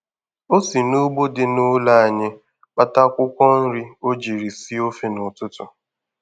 O si n'ugbo dị n'ụlọ anyị kpata akwụkwọ nri o jiri sie ofe n'ụtụtụ.